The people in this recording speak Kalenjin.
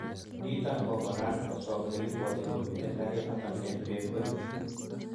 Niton ko koran koswa elekoibwotin komiten karinoton en peg orit.